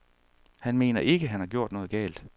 Han mener ikke, at han har gjort noget galt.